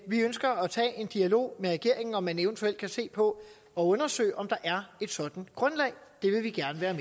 vi ønsker at tage en dialog med regeringen om om man eventuelt kan se på og undersøge om der er et sådant grundlag det vil vi gerne være